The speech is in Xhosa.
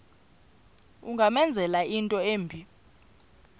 ungamenzela into embi